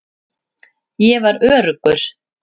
Ég var öruggur.